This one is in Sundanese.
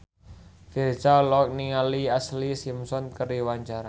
Virzha olohok ningali Ashlee Simpson keur diwawancara